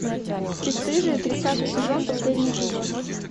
бесстыжие тридцатый сезон последний эпизод